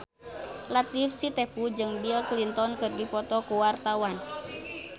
Latief Sitepu jeung Bill Clinton keur dipoto ku wartawan